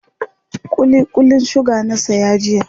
kulli Kullin suga na saya jiya